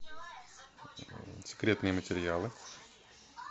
секретные материалы